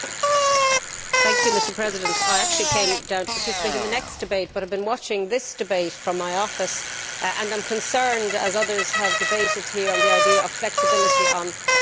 Mr President, I actually came down to participate in the next debate but I have been watching this debate from my office and I am concerned, like others who have spoken in the debate here, about the idea of flexibility on rules of origin.